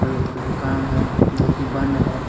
का दुकान है जो की बंद है।